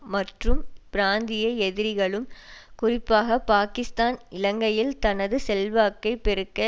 மற்றும் பிராந்திய எதிரிகளும் குறிப்பாக பாகிஸ்தான் இலங்கையில் தனது செல்வாக்கை பெருக்க